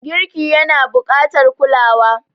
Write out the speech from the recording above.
Girki yana buƙatar kulawa.